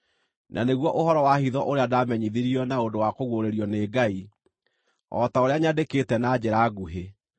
na nĩguo ũhoro wa hitho ũrĩa ndaamenyithirio na ũndũ wa kũguũrĩrio nĩ Ngai, o ta ũrĩa nyandĩkĩte na njĩra nguhĩ.